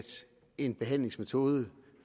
en behandlingsmetode